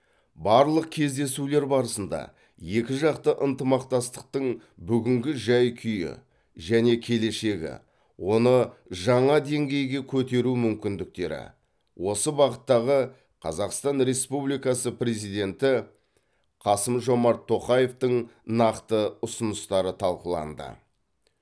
барлық кездесулер барысында екіжақты ынтымақмастықтың бүгінгі жай күйі және келешегі оны жаңа деңгейге көтеру мүмкіндіктері осы бағыттағы қазақстан республикасы президенті қасым жомарт тоқаевтың нақты ұсыныстары талқыланды